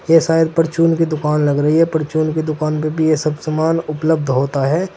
ये शायद परचून की दुकान लग रही है परचून की दुकान पे भी ये सब सामान उपलब्ध होता है।